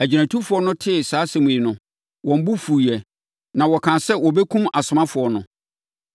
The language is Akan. Agyinatufoɔ no tee saa asɛm yi no, wɔn bo fuiɛ na wɔkaa sɛ wɔbɛkum asomafoɔ no.